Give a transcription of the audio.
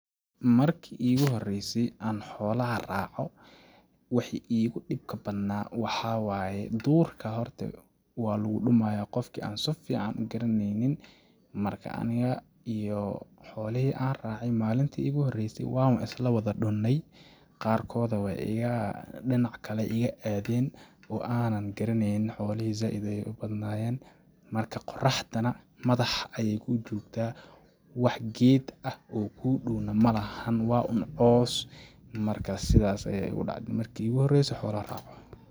Marki iigu horeysay aan xoolaha raaco ,wixi iigu dhibka badnaa waxaa waaye ,duurka horte waa lagu dhumayaa ,qofki aan su fiican u garaneynin ,marki anuga uto xoolihi aan raace malinti iigu horeysay ,waan wa isla wada dhunnay ,qaar kooda weey iga ,dhinac kale ayeey iga aadeen ,oo aanan garaneynin xoolihi zaaid ayeey u badnayeen ,marka qoraxda na madaxa ayeey kuu jogtaa ,wax geed ah oo kuu dhow na malahan ,waa un caws ,marka sidaas ayaaigu dhacde marki iigu horeyse xoolaha raaco.